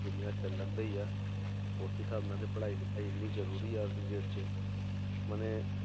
ਦੁਨੀਆਂ ਚੱਲਦੀ ਹੈ ਉਸ ਹਿਸਾਬ ਨਾਲ ਤਾਂ ਪੜ੍ਹਾਈ ਲਿਖਾਈ ਵੀ ਜ਼ਰੂਰੀ ਆ ਅੱਜ ਦੀ date ਚ ਮਨੇ